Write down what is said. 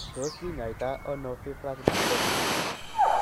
Tos kinyaita ono fibrous dysplasia ?